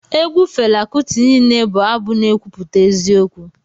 Egwu Fela Kuti niile bụ abụ n'ekwuputa eziokwu